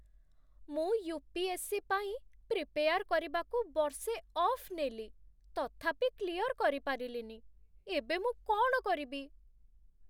ମୁଁ ୟୁ.ପି.ଏସ୍.ସି. ପାଇଁ ପ୍ରିପେୟାର୍ କରିବାକୁ ବର୍ଷେ ଅଫ୍ ନେଲି, ତଥାପି କ୍ଲିୟର୍ କରିପାରିଲିନି । ଏବେ ମୁଁ କ'ଣ କରିବି?